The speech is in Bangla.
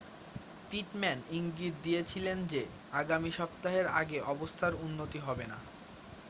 পিটম্যান ইঙ্গিত দিয়েছিলেন যে আগামী সপ্তাহের আগে অবস্থার উন্নতি হবে না